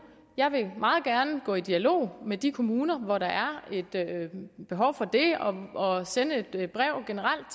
jeg vil meget gerne gå i dialog med de kommuner hvor der er et behov for det og sende et brev